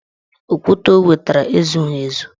Okwute o wetara ezughị ezu